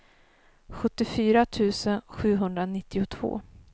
sjuttiofyra tusen sjuhundranittiotvå